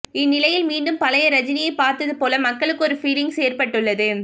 இந்நிலையில் மீண்டும் பழைய ரஜினியை பார்த்தது போல மக்களுக்கு ஒரு பீலிங்ஸ் ஏற்பட்டுள்ளது